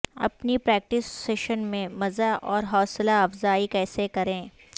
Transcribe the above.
اپنی practice session میں مزہ اور حوصلہ افزائی کیسے کریں